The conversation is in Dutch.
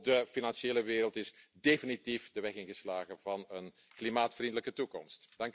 Ook de financiële wereld is definitief de weg ingeslagen van een klimaatvriendelijke toekomst.